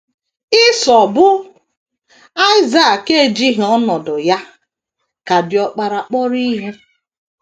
Isọ, bụ́ Aịsak, ejighị ọnọdụ ya dị ka diọkpara kpọrọ ihe.